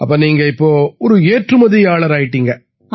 அப்ப நீங்க இப்ப ஒரு ஏற்றுமதியாளராயிட்டீங்களா